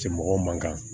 Cɛ mɔgɔ man kan